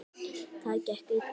Það gekk illa.